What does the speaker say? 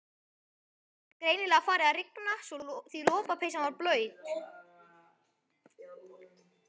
Það var greinilega farið að rigna því lopapeysan var blaut.